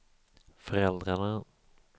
föräldrarna